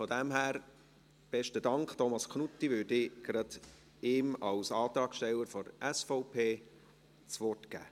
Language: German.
Von daher würde ich Thomas Knutti gerade als Antragsteller der SVP das Wort geben.